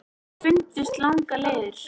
Þeir fundust langar leiðir.